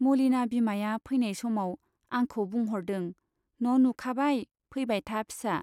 मलिना बिमाया फैनाय समाव आंखौ बुंह'रदों न'नुखाबाय, फैबाय था फिसा।